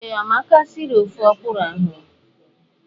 Ee, Amaka sịrị ofe ọkwụrụ ahụ.